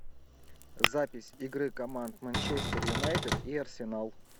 запись игры команд манчестер юнайтед и арсенал